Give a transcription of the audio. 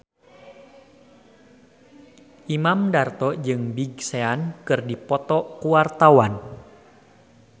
Imam Darto jeung Big Sean keur dipoto ku wartawan